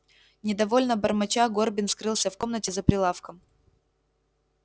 недовольно бормоча горбин скрылся в комнате за прилавком